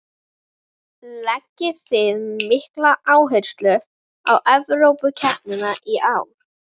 Leggið þið mikla áherslu á Evrópukeppnina í ár?